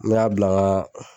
N mɛ a bila